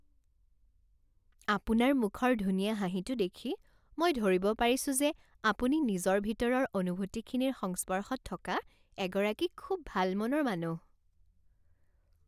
আপোনাৰ মুখৰ ধুনীয়া হাঁহিটো দেখি মই ধৰিব পাৰিছো যে আপুনি নিজৰ ভিতৰৰ অনুভূতিখিনিৰ সংস্পৰ্শত থকা এগৰাকী খুব ভাল মনৰ মানুহ।